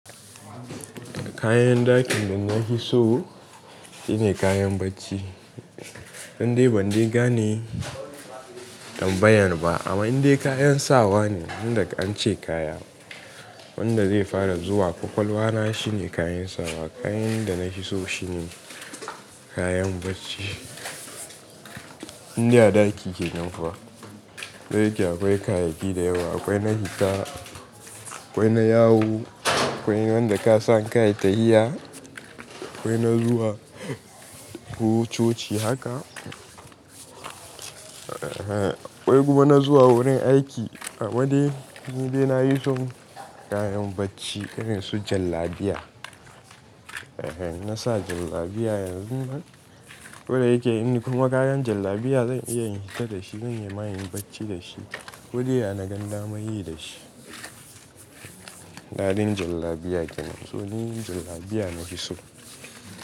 Kayan dakin da na yi so shine kayan bacci. Indai ban de gane tambayan ba amma indai kayan sawa ne, wanda an ce kaya wanda zai fara zuwa kwakwalwa na shine kayan sawa. Kayan da na fi so shine kayan bacci. Inda daki ke nan fa, dai yake akwai kayayyaki da yawa. Akwai na hita, akwai na yawo, akwai wanda ka sa ka yi ta'iya, akwai na zuwa coci haka. Ehen, akwai kuma na zuwa wurin aiki. Amma dai ni dai na yi so kayan bacci irin su jallabiya. Ehen, na sa jallabiya yanzu nan. Koda yake in ni kuma kayan jallabiya zan iya in hita da shi, zan iya ma yin bacci da shi, ko dai na gan damar yi da shi. Daɗin jallabiya kenan, tuni jallabiya na fi so.